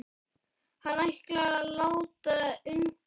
Hann ætlar að láta undan.